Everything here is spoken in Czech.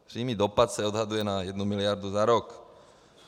Přímý dopad se odhaduje na 1 miliardu za rok.